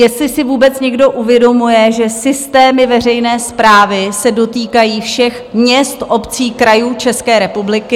Jestli si vůbec někdo uvědomuje, že systémy veřejné správy se dotýkají všech měst, obcí, krajů České republiky?